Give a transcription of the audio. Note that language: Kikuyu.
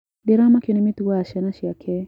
Ndĩramakio nĩ mĩtugo ya ciana ciake.